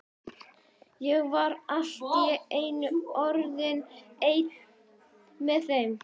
Ég var allt í einu orðinn einn með þeim.